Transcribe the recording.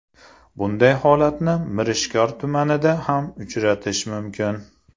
Bunday holatni Mirishkor tumanida ham uchratish mumkin.